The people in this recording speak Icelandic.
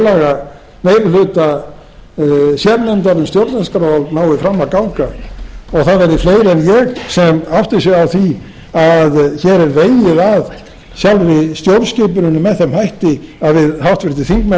tillaga meiri hluta sérnefndar um stjórnarskrá nái fram að ganga og það verði fleiri en ég sem átti sig á því að hér er vegið að sjálfri stjórnskipuninni með þeim hætti að við háttvirtir þingmenn erum nú að brjóta